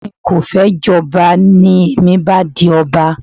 Ẹ̀gbọ́n mi kò fẹ́ jọba, ní èmi bá di ọba